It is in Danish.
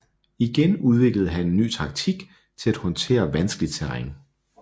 Igen udviklede han en ny taktik til at håndtere vanskeligt terræn